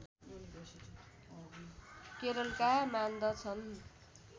केरलका मान्दछन्